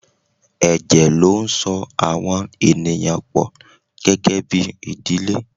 Ẹ̀jẹ̀ ló ń so àwọn ènìyàn pọ gẹ́gẹ́bí ìdílé.